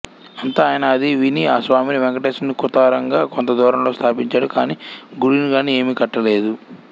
అంత ఆయన అది విని ఆ స్వామిని వెంకటేశ్వరుని కుత్తరంగా కొంత దూరంలో స్థాపించాడు కాని గుడిగాని ఏమి కట్టలేదు